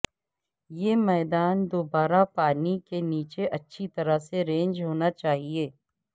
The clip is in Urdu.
یہ میدان دوبارہ پانی کے نیچے اچھی طرح سے رینج ہونا چاہئے